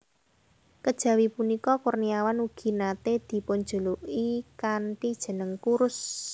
Kejawi punika Kurniawan ugi naté dipunjuluki kanthi jeneng Kurus